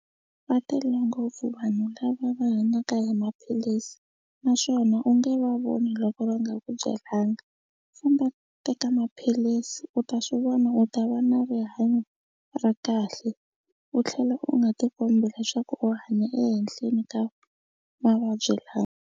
Va tele ngopfu vanhu lava va hanyaka hi maphilisi naswona u nge va voni loko va nga ku byelanga. Famba teka maphilisi u ta swi vona u ta va na rihanyo ra kahle u tlhela u nga tikombi leswaku u hanya ehehleni ka mavabyi lawa.